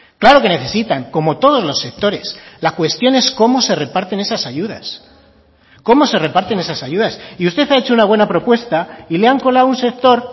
claro que necesitan como todos los sectores la cuestión es cómo se reparten esas ayudas cómo se reparten esas ayudas y usted ha hecho una buena propuesta y le han colado un sector